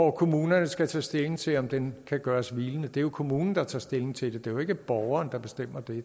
og kommunerne skal tage stilling til om den kan gøres hvilende det er jo kommunen der tager stilling til det det er ikke borgeren der bestemmer det